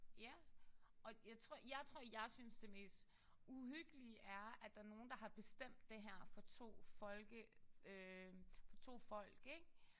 Ja. Og jeg tror jeg tror jeg synes det mest uhyggelige er at der er nogen der har bestemt det her for to folke øh to folk ikk